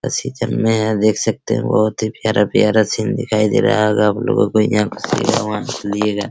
में यहां देख सकते है बहुत ही प्यारा-प्यारा सीन दिखाई दे रहा होगा आपलोगों को यहां से वहां लिए गए।